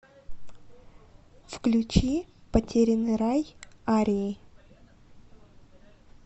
включи потерянный рай арии